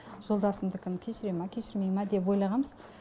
жолдасымдікін кешіре ма кешірмей ма деп ойлағанбыз